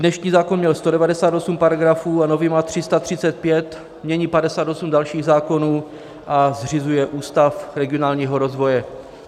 Dnešní zákon měl 198 paragrafů a nový má 335, mění 58 dalších zákonů a zřizuje Ústav regionálního rozvoje.